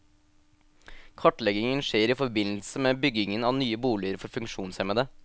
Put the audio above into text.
Kartleggingen skjer i forbindelse med byggingen av nye boliger for funksjonshemmede.